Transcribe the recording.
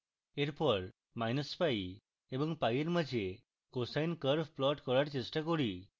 এরপর minus pi এবং pi এর মাঝে cosine curve plot করার চেষ্টা করি